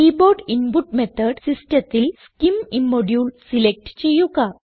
key board input method സിസ്റ്റത്തിൽ scim ഇമ്മോഡുലെ select ചെയ്യുക